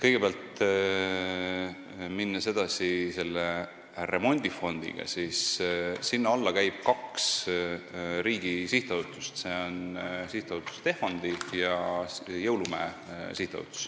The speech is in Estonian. Kõigepealt, kui minna edasi selle remondifondiga, siis sinna alla käib kaks riigi sihtasutust: Tehvandi ja Jõulumäe.